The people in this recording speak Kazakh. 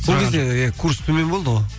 сол кезде иә курс төмен болды ғой